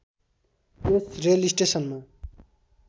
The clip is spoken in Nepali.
यस रेल स्टेसनमा